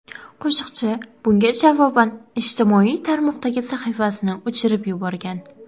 Qo‘shiqchi bunga javoban ijtimoiy tarmoqdagi sahifasini o‘chirib yuborgan.